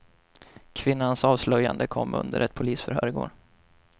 Kvinnans avslöjande kom under ett polisförhör i går.